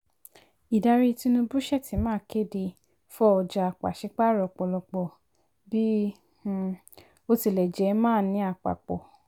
ìdarí tinubu/shettima kéde fọ́ ọjà paṣipaarọ ọ̀pọ̀lọpọ̀ bí um ó tilẹ̀ jẹ́ máà ní àpapọ̀.